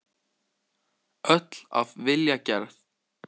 Öll af vilja gerð.